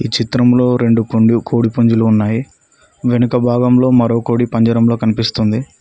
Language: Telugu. చిత్రంలో రెండు పందెం కోడిపుంజులు ఉన్నాయి వెనుక భాగంలో మరో కోడి పంజరంలో కనిపిస్తుంది.